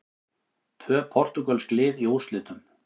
Tvö portúgölsk lið í úrslitum